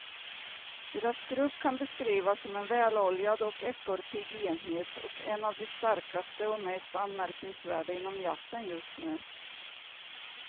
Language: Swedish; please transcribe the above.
Deras grupp kan beskrivas som en väloljad och ekorrpigg enhet och en av de starkaste och mest anmärkningsvärda inom jazzen just nu.